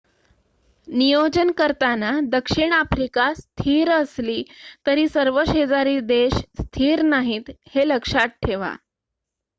नियोजन करताना दक्षिण आफ्रिका स्थिर असली तरी सर्व शेजारी देश स्थिर नाहीत हे लक्षात ठेवा